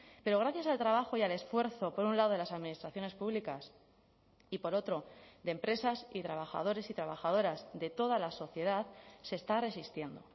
pero gracias al trabajo y al esfuerzo por un lado de las administraciones públicas y por otro de empresas y trabajadores y trabajadoras de toda la sociedad se está resistiendo